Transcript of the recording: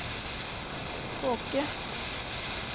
tåke